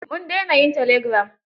Mun daina yin telegiram.